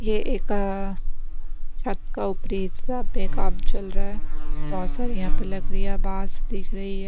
ये एक छत का ऊपरी हिस्सा पे काम चल रहा है बहुत सारी यहां पर लकड़ियां बास दिख रही है।